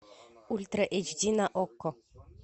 ультра эйч ди на окко